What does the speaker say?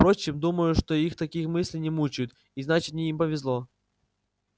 впрочем думаю что их такие мысли не мучают и значит им повезло